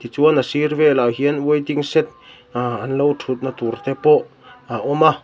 tichuan a sîr velah hian waiting shed ahh an lo ṭhutna tûrte pawh a awm a--